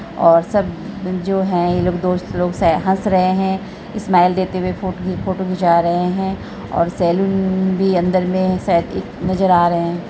और सब जो है ये लोग दोस्त लोग है हँस रहे हैं इस्माइल देते हुए फोटो खि फोटो खिचवा रहे हैं और सैलून भी अन्दर में शायद एक नजर आ रहे हैं।